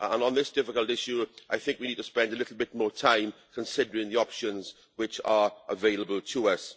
And on this difficult issue, I think we need to spend a little bit more time considering the options which are available to us.